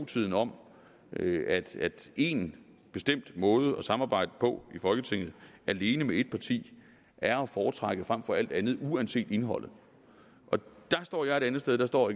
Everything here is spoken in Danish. tiden om at at én bestemt måde at samarbejde på i folketinget alene med ét parti er at foretrække frem for alt andet uanset indholdet dér står jeg et andet sted og dér står